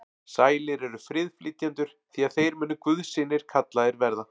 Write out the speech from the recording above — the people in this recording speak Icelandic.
Sælir eru friðflytjendur, því að þeir munu guðs synir kallaðir verða.